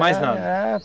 Mais nada.